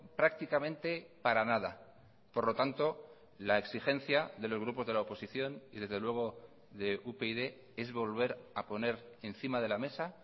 prácticamente para nada por lo tanto la exigencia de los grupos de la oposición y desde luego de upyd es volver a poner encima de la mesa